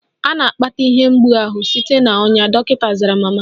A na-akpata ihe mgbu ahụ site na ọnya, dọkịta zara mama.